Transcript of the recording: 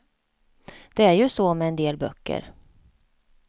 Det är ju så med en del böcker.